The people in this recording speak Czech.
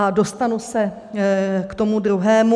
A dostanu se k tomu druhému.